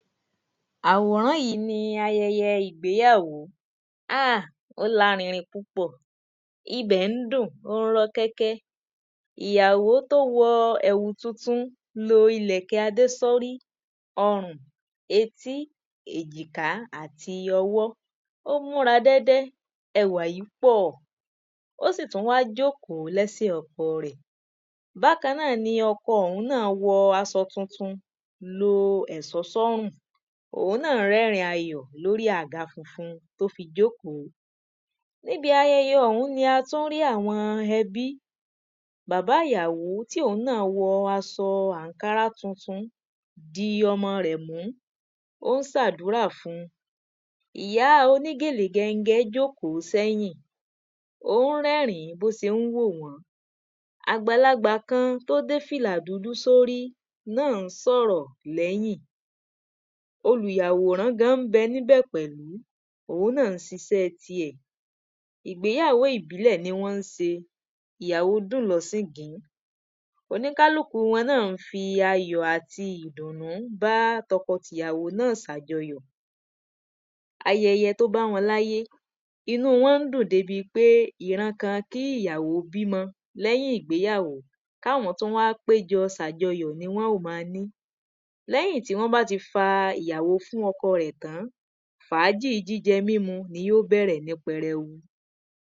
awòrán yí ni ayẹyẹ ìgbéyàwó, ah!, ó lárinrin púpọ̀, ibè ń dùn, ó ń rọ́kẹ́kẹ́, ìyàwó tó wọ ilẹ̀kẹ̀ tuntun wọ adé sórí, ọrùn, etí, èjìká àti ọwọ́, ó múra dẹ́dẹ́, ẹwà yí pọ́ọ̀, ó sì tún wá jókòó lẹ́sẹ̀ ọkọ rẹ̀, bákan náà ni ọkọ òún náà wọ aṣọ tuntun, lo ẹ̀sọ́ sọ́rùn, òun náà rẹ́ẹ̀rìn ayọ̀ lórí ága funfun tó fi jókòó, níbi ayẹyẹ òún ni a tún rí àwọn ẹbí, bàbá ìyàwó tí òun náà wọ aṣọ ànkárá tuntun, di ọmọ rẹ̀ mú ó ń se àdúrà fun, ìyá onígèlè gẹngẹn jókòó sẹ́yìn, ó ń rẹ́rìn bí ó sé ń wò wọ́n, àgbàlagbà kan tó dé fìlà dúdú sórí náà ń sọ̀rọ̀ lẹ́yìn, olùyàwòrán gan ń bẹ ní bẹ̀ pẹ̀lú, òun náà se isẹ́ tiẹ̀, ìgbéyàwó ìbílẹ̀ ni wọ́n se, ìyàwó dùn lo, oníkálúkùu wọn náà fi ayọ̀ àti ìdùnnú bá tọkọ t'ìyàwó náà ṣàjọyọ̀ ayẹyẹ tó bá wọn láyé, inúu wọn ń dùn dé bi pé ìran kan kí ìyàwó bímọ lẹ́yìn ìgbéyàwó, kí àwọn tún wá péjọ ṣàjọyọ̀ ni wọ́n ó ma ní, lẹ́yìn tí wọ́n bá ti fa ìyàwó fún ọkọ rẹ̀ tán, fàájì jíjẹ mímu, ni yó bẹ̀rẹ̀ ní pẹrẹwu.